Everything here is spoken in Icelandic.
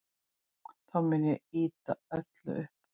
Þá mun ég ýta öllu upp.